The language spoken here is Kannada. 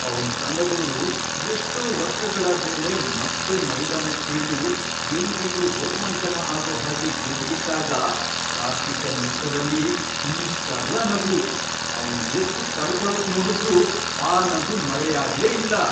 ಅವ್ನ್ ತಂಡದೋರು ಎಷ್ಟೋ ವರ್ಷಗಳಾದ್ಮೇಲೆ ಮತ್ತೆ ಮೈದಾನಕ್ಕಿಳ್ದು ಎಲ್ರಿಗೂ ರೋಮಾಂಚನ ಆಗೋ ಹಾಗೆ ಗೆದ್ಬಿಟ್ಟಾಗ ಕಾರ್ತೀಕನ್ ಮುಖದಲ್ಲಿ ಈ..ಷ್ಟ್ಅಗಲ ನಗು.. ಅವ್ನ್ ಎಷ್ಟ್ ತಡ್ಕೊಳಕ್ನೋಡುದ್ರೂ ಆ ನಗು ಮರೆಯಾಗ್ಲೇ ಇಲ್ಲ.